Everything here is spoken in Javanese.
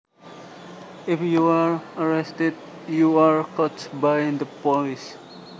If you are arrested you are caught by the police